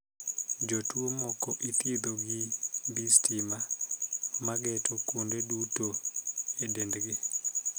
Jotuo moko ithiedho gi mbii stima ma geto kuonde duto e dendgi.